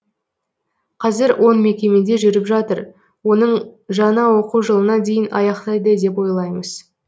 қазір он мекемеде жүріп жатыр оның жаңа оқу жылына дейін аяқтайды деп ойлаймыз